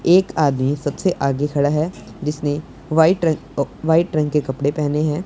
एक आदमी सबसे आगे खड़ा है जिसने व्हाइट र वाइट रंग के कपड़े पहने हैं।